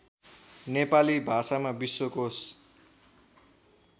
नेपाली भाषामा विश्वकोष